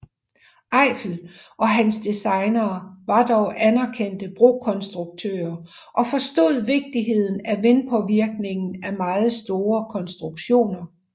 Eiffel og hans designere var dog anerkendte brokonstruktører og forstod vigtigheden af vindpåvirkningen af meget store konstruktioner